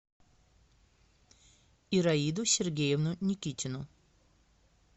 ираиду сергеевну никитину